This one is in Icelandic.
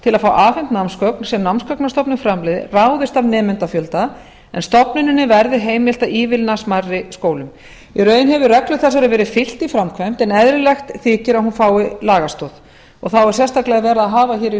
til að fá afhent námsgögn sem námsgagnastofnun framleiðir ráðist af nemendafjölda en stofnuninni verði heimilt að ívilna smærri skólum í raun hefur reglu þessari verið fylgt í framkvæmd en eðlilegt þykir að hún fái lagastoð þá er sérstaklega verið að hafa hér í